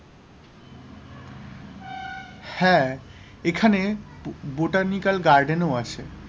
হ্যাঁ, এখানে botanical garden ও আছে,